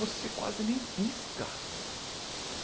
Você quase nem pisca.